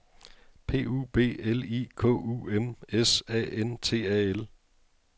P U B L I K U M S A N T A L